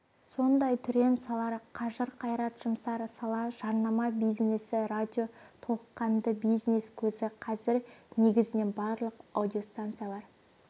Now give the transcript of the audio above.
сондай түрен салар қажыр-қайрат жұмсар сала жарнама бизнесі радио толыққанды бизнес көзі қазір негізінен барлық радиостанциялар